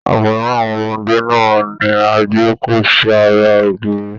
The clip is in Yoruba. Àwòrán àwọn ọmọdé náà ní a gbé kọ sí àrà ògiri.